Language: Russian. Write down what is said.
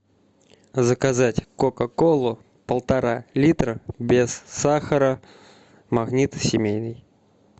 заказать кока колу полтора литра без сахара магнит семейный